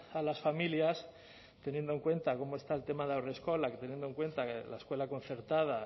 a las familias teniendo en cuenta cómo está el tema de haurreskolak teniendo en cuenta que la escuela concertada